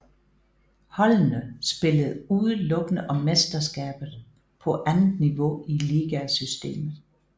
Holdene spillede udelukkende om mesterskabet på andet niveau i ligasystemet